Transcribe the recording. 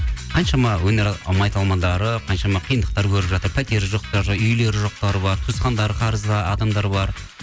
қаншама өнер майталмандары қаншама қиындықтар көріп жатыр пәтері жоқтары үйлері жоқтары бар туысқандары қарыз адамдар бар